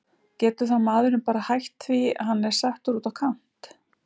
Getur þá maðurinn bara hætt því hann er settur út á kant?